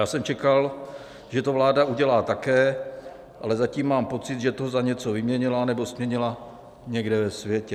Já jsem čekal, že to vláda udělá také, ale zatím mám pocit, že to za něco vyměnila, nebo směnila někde ve světě.